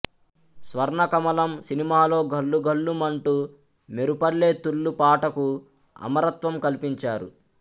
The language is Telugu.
స్వర్ణకమలం సినిమాలో ఘల్లు ఘల్లు మంటూ మెరుపల్లే తుళ్ళు పాటకు అమరత్వం కల్పించారు